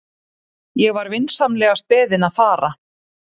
Ég var vinsamlegast beðinn að fara.